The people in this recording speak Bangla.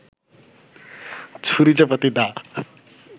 ছুরি-চাপাতি-দা